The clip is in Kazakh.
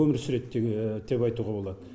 өмір сүреді деп айтуға болады